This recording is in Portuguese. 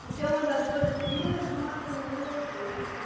Porque é uma das coisas que mais mata no mundo é o trânsito.